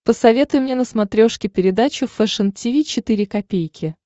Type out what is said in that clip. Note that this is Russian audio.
посоветуй мне на смотрешке передачу фэшн ти ви четыре ка